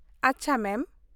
ᱟᱪᱪᱷᱟ ᱢᱮᱢ ᱾